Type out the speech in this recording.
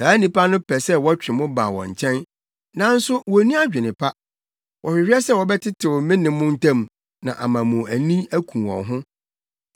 Saa nnipa no pɛ sɛ wɔtwe mo ba wɔn nkyɛn, nanso wonni adwene pa. Wɔhwehwɛ sɛ wɔbɛtetew me ne mo ntam na ama mo ani aku wɔn ho.